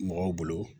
Mɔgɔw bolo